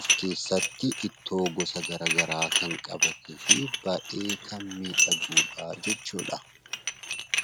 of keessatti ittoo gosa garagaraa kan qabanii fi baayyee kan miidhagudha jechuudha.